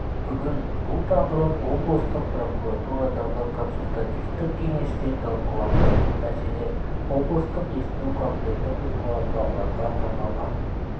бүгін бұл тақырып облыстық прокуратурадағы консультативтік кеңесте талқыланды мәселен облыстық есту қабелеті бұзылған балаларға арналған